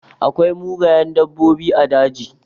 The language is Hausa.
Akwai mugayen dabbobi a daji.